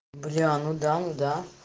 бля ну да ну да